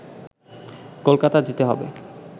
কলকাতা যেতে হবে